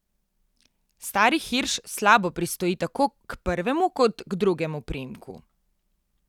Stari Hirš slabo pristoji tako k prvemu kot k drugemu priimku.